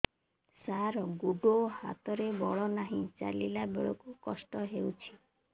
ସାର ଗୋଡୋ ହାତରେ ବଳ ନାହିଁ ଚାଲିଲା ବେଳକୁ କଷ୍ଟ ହେଉଛି